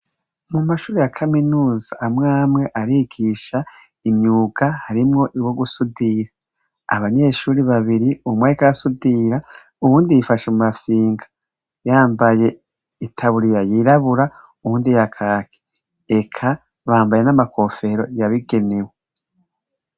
Mumashure ya kaminuza amwe amwe arigisha imyuga harimwo uwo gusudira , abanyeshure babiri, umwe ariko arasudira uwundi yifashe. mumafyiga yambaye itaburiya yiraburabura uwundi iya kaki eka bambaye namakofero yabigenewe.